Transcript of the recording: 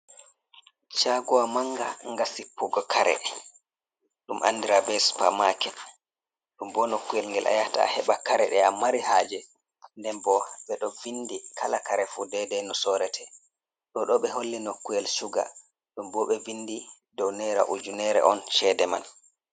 Shagowa manga nga sippugo kare ɗum andira be super maket, ɗum bo nokkuyel ngel a yata a heɓa kare ɗe amari haje. Nden bo ɓeɗo vindi kala kare fu dedai no sorrete ɗoɗo ɓe holli nokkuyel shuga ɗobo ɓe vindi dow naira ujunere on chede man.